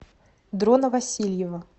дрона васильева